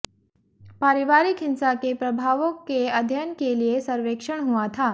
पारिवारिक हिंसा के प्रभावों के अध्ययन के लिए के सर्वेक्षण हुआ था